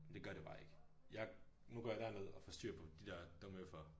Men det gør det bare ikke. Jeg nu går jeg derned og for styr på de der dumme øffere